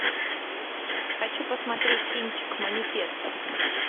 хочу посмотреть кинчик манифесто